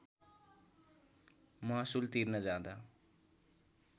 महसुल तिर्न जाँदा